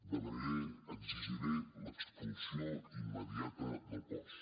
demanaré exigiré l’expulsió immediata del cos